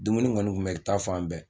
Dumuni kɔni tun bɛ i taa fan bɛɛ